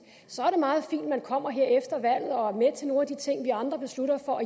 så er det meget fint at man kommer her efter valget og er med til nogle af de ting vi andre beslutter for at